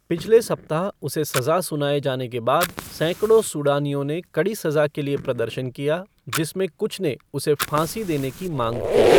पिछले सप्ताह उसे सज़ा सुनाए जाने के बाद, सैकड़ों सूडानियों ने कड़ी सज़ा के लिए प्रदर्शन किया, जिसमें कुछ ने उसे फ़ांसी देने की मांग की।